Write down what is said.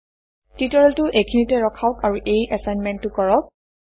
টিউটৰিয়েলটো এইখিনিতে ৰখাওক আৰু এই এচাইনমেণ্টটো কৰক